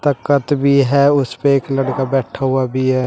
तकत भी है उसपे एक लड़का बैठा हुआ भी है।